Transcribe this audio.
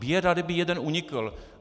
Běda, kdyby jeden unikl!